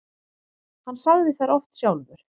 Hann sagði þær oft sjálfur.